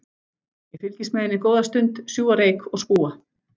Ég fylgist með henni góða stund, sjúga reyk og spúa.